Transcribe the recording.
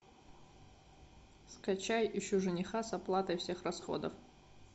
скачай ищу жениха с оплатой всех расходов